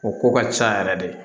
O ko ka ca yɛrɛ de